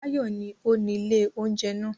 Báyọ̀ ni ó ni ilé-oúnjẹ náà.